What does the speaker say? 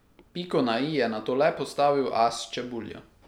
Piko na i je nato le postavil as Čebulja.